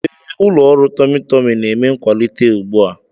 Ee, ụlọ ọrụ tummy Tummy na-eme nkwalite ugbu a.